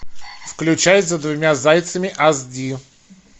включай за двумя зайцами аш ди